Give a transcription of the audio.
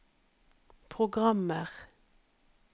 programmer